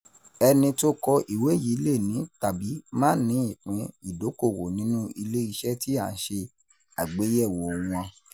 Ẹni tó kọ ìwé yii le ní tàbí má ní ìpín ìdókòwò nínú ilé iṣẹ́ tí a n ṣe àgbéyẹ̀wò wọn.